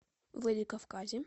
владикавказе